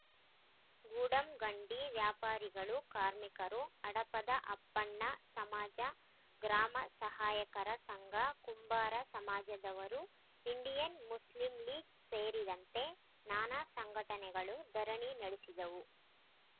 ಗೂಡಂಗಡಿ ವ್ಯಾಪಾರಿಗಳು ಕಾರ್ಮಿಕರು ಹಡಪದ ಅಪ್ಪಣ್ಣ ಸಮಾಜ ಗ್ರಾಮ ಸಹಾಯಕರ ಸಂಘ ಕುಂಬಾರ ಸಮಾಜದವರು ಇಂಡಿಯನ್‌ ಮುಸ್ಲಿಂ ಲೀಗ್‌ ಸೇರಿದಂತೆ ನಾನಾ ಸಂಘಟನೆಗಳು ಧರಣಿ ನಡೆಸಿದವು